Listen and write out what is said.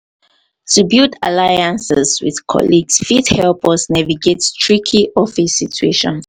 to build alliances with colleagues fit help us navigate tricky office situations.